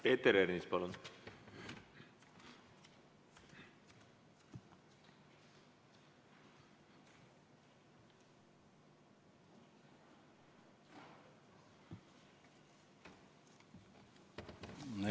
Peeter Ernits, palun!